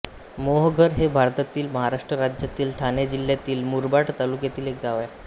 मोहघर हे भारतातील महाराष्ट्र राज्यातील ठाणे जिल्ह्यातील मुरबाड तालुक्यातील एक गाव आहे